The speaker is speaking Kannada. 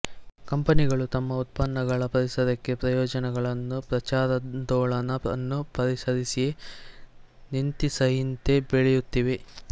ಕಂಪನಿಗಳು ತಮ್ಮ ಉತ್ಪನ್ನಗಳ ಪರಿಸರಕ್ಕೆ ಪ್ರಯೋಜನಗಳನ್ನು ಪ್ರಚಾರಾಂದೋಲನವನ್ನು ಪರಿಸರೀಯ ನೀತಿಸಂಹಿತೆ ಬೆಳೆಯುತ್ತಿವೆ